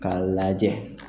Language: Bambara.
K'a lajɛ